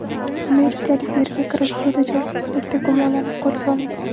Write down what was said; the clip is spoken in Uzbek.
Amerikalik erkak Rossiyada josuslikda gumonlanib qo‘lga olindi.